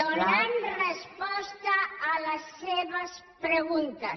donant resposta a les seves preguntes